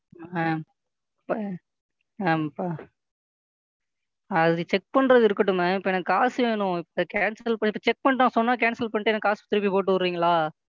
Mam இப்ப mam அது Check பண்றது இருக்கட்டும் Ma'am இப்ப எனக்கு காசு வேணும் இப்ப Cancel பண்ணிட்டு Check பண்ணிட்டு நான் சொன்னா Cancel பண்ணிட்டு எனக்கு காசை திருப்பி போட்டு விடறீங்களா?